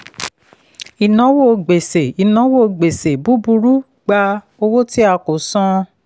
ìnáwó gbèsè ìnáwó gbèsè búburú gba owó tí a kò san.